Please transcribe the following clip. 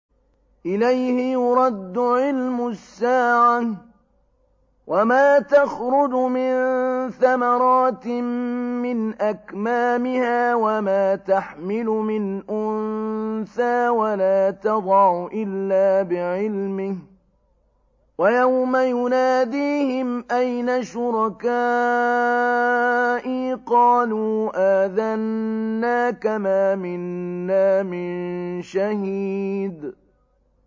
۞ إِلَيْهِ يُرَدُّ عِلْمُ السَّاعَةِ ۚ وَمَا تَخْرُجُ مِن ثَمَرَاتٍ مِّنْ أَكْمَامِهَا وَمَا تَحْمِلُ مِنْ أُنثَىٰ وَلَا تَضَعُ إِلَّا بِعِلْمِهِ ۚ وَيَوْمَ يُنَادِيهِمْ أَيْنَ شُرَكَائِي قَالُوا آذَنَّاكَ مَا مِنَّا مِن شَهِيدٍ